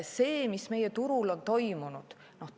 Mis meie turul on toimunud?